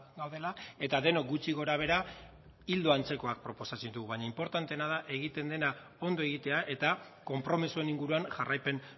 gaudela eta denok gutxi gorabehera ildo antzekoak proposatzen ditugu baina inportanteena da egiten dena ondo egitea eta konpromisoen inguruan jarraipen